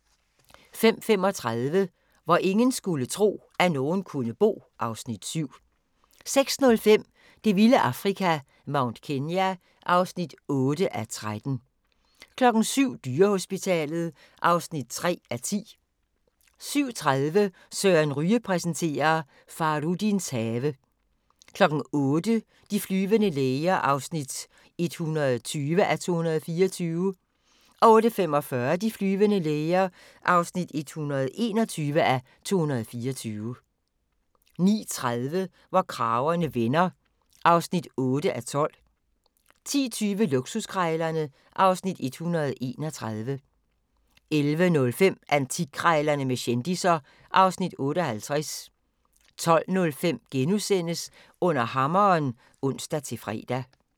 05:35: Hvor ingen skulle tro, at nogen kunne bo (Afs. 7) 06:05: Det vilde Afrika - Mount Kenya (8:13) 07:00: Dyrehospitalet (3:10) 07:30: Søren Ryge præsenterer: Fahrudins have 08:00: De flyvende læger (120:224) 08:45: De flyvende læger (121:224) 09:30: Hvor kragerne vender (8:12) 10:20: Luksuskrejlerne (Afs. 131) 11:05: Antikkrejlerne med kendisser (Afs. 58) 12:05: Under hammeren *(ons-fre)